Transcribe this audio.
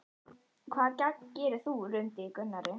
Hvaða gagn gerir þú? rumdi í Gunnari.